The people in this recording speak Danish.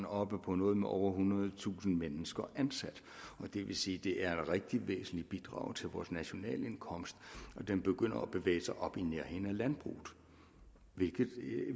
oppe på noget med over ethundredetusind mennesker ansat og det vil sige at det er et rigtig væsentligt bidrag til vores nationalindkomst og den begynder at bevæge sig op i nærheden af landbruget hvilket